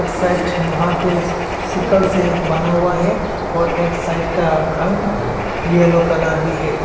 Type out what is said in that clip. एक साइट लोहा के सकल से बना हुआ है और एक सिकल का रंग येलो कलर भी है।